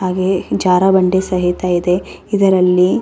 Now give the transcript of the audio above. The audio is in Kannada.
ಹಾಗೆ ಜರ್ಬಂಡೆ ಸಹಿತ ಇದೆ ಇದರಲ್ಲಿ.